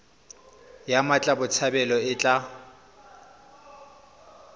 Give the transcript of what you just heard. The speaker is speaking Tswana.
ya mmatla botshabelo e tla